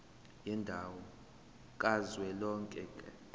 yendawo kazwelonke ka